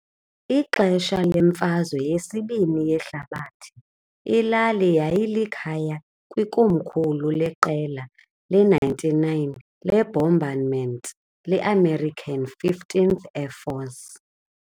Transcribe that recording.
Ngexesha leMfazwe yesiBini yeHlabathi, ilali yayilikhaya kwikomkhulu leQela le-99 leBombardment le-American 15th Air Force.